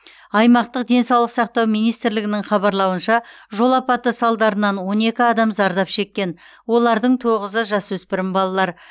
аймақтық денсаулық сақтау министрлігінің хабарлауынша жол апаты салдарынан он екі адам зардап шеккен олардың тоғызы жасөспірім балалар